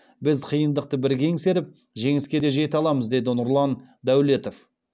біз қиындықты бірге еңсеріп жеңіске де жете аламыз деді нұрлан даулетов